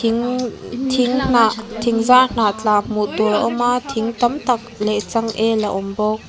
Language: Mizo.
thing thing hnah thing zar hnah tla hmuh tur a awm a thing tam tak leh changel a awm bawk.